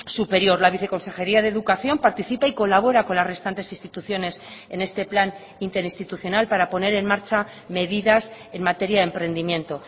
superior la viceconsejería de educación participa y colabora con las restantes instituciones en este plan interinstitucional para poner en marcha medidas en materia de emprendimiento